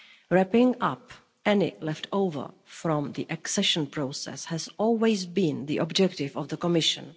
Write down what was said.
Wrapping up any leftover from the accession process has always been the objective of the Commission.